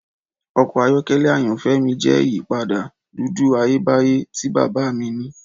Ọkọ ayọkẹlẹ ayanfẹ mi jẹ iyipada dudu Ayebaye ti baba mi ni.